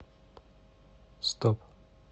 стоп